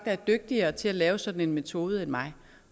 er dygtigere til at lave sådan en metode end mig